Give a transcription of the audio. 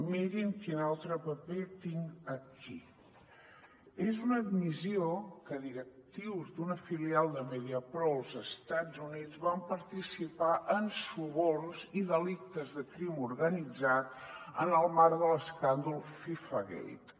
mirin quin altre paper tinc aquí és una admissió que directius d’una filial de mediapro als estats units van participar en suborns i delictes de crim organitzat en el marc de l’escàndol fifagate